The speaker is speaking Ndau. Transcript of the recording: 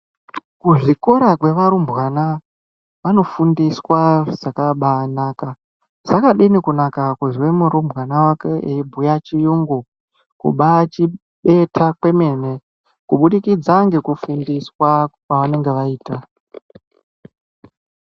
Kuzvikora kwevarumbwana vanofundiswa zvakabaanaka. Zvakadini kunaka kuzwe murumbwana wako eibhuya chiyungu, kubaachibeta kwemene, kubudikidza ngekufundiswa kwavanenge vaita.